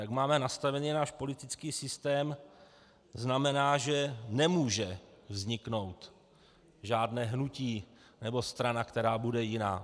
Jak máme nastaven náš politický systém, znamená, že nemůže vzniknout žádné hnutí nebo strana, která bude jiná.